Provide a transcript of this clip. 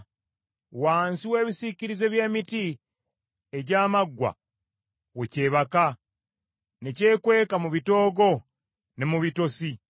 Wansi w’ebisiikirize by’emiti egy’amaggwa, we kyebaka, ne kyekweka mu bitoogo ne mu bitosi.